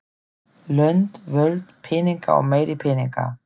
Lönd, völd, peningar og meiri peningar.